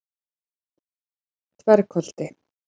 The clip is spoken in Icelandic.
Dvergholti